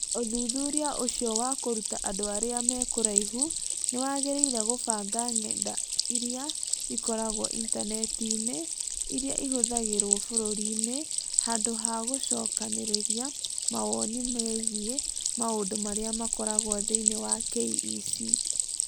Ũthuthuria ũcio wa kũruta andũ arĩa me kũraihu nĩ wageririe kũbanga ng’enda irĩa ikoragwo Intaneti-inĩ irĩa ihũthagĩrũo bũrũri-inĩ handũ ha gũcokanĩrĩria mawoni megiĩ maũndũ marĩa makoragwo thĩinĩ wa KEC,